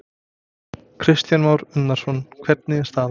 Kristján Már Unnarsson: Hvernig er staðan?